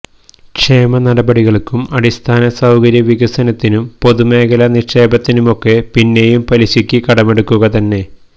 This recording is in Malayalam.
ക്ഷേമ നടപടികള്ക്കും അടിസ്ഥാന സൌകര്യ വികസനത്തിനും പൊതുമേഖലാ നിക്ഷേപത്തിനുമൊക്കെ പിന്നെയും പലിശക്ക് കടമെടുക്കുക തന്നെ